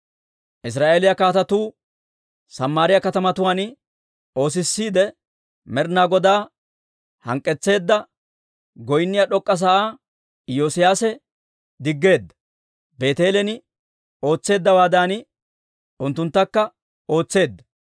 Israa'eeliyaa kaatetuu Samaariyaa katamatuwaan oosissiide, Med'ina Godaa hank'k'etseedda, goynniyaa d'ok'k'a sa'aa Iyoosiyaase diggeedda; Beeteelen ootseeddawaadan, unttunttakka ootseedda.